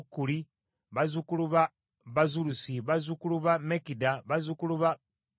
bazzukulu ba Bazulusi, bazzukulu ba Mekida, bazzukulu ba Kalusa,